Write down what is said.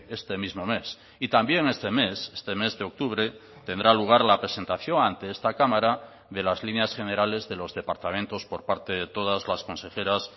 este mismo mes y también este mes este mes de octubre tendrá lugar la presentación ante esta cámara de las líneas generales de los departamentos por parte de todas las consejeras